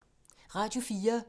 Radio 4